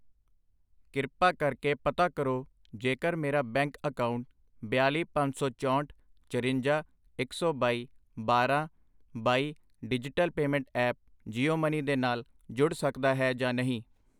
ਕ੍ਰਿਪਾ ਕਰਕੇ ਪਤਾ ਕਰੋ ਜੇਕਰ ਮੇਰਾ ਬੈਂਕ ਅਕਾਊਂਟ ਬਿਆਲੀ, ਪੰਜ ਸੌ ਚੌਹਠ, ਚਰੰਜਾ, ਇੱਕ ਸੌ ਬਾਈ, ਬਾਰਾਂ, ਬਾਈ digital payment app Jio money ਦੇ ਨਾਲ ਜੁੜ ਸਕਦਾ ਹੈ ਜਾਂ ਨਹੀਂ?